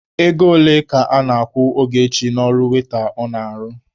Ego ole ka a na-akwụ Ogechi n'ọrụ waita ọ na-arụ?